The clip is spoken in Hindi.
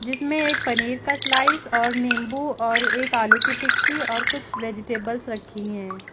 जिसमें एक पनीर का स्लाइस और नींबू और एक आलू की टिक्की और कुछ वेजिटेबल्स रखी हैं।